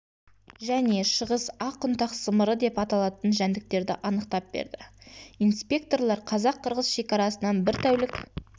және шығыс ақ ұнтақ сымыры деп аталатын жәндіктерді анықтап берді инспекторлар қазақ-қырғыз шекарасынан бір тәулік